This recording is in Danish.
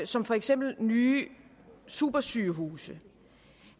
som for eksempel nye supersygehuse